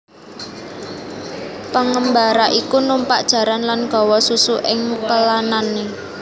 Pengembara iku numpak jaran lan gawa susu ing pelanane